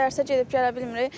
Dərsə gedib gələ bilmirik.